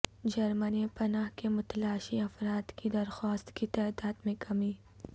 جرمنی میں پناہ کے متلاشی افراد کی درخواستوں کی تعداد میں کمی